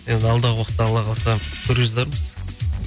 енді алдағы уақытта алла қаласа көре жатармыз